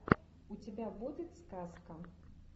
у тебя будет сказка